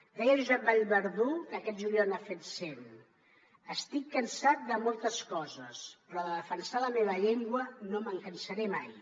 deia josep vallverdú que aquest juliol n’ha fet cent estic cansat de moltes coses però de defensar la meva llengua no me’n cansaré mai